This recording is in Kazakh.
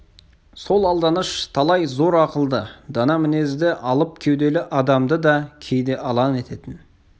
сол алданыш талай зор ақылды дана мінезді алып кеуделі адамды да кейде алан ететін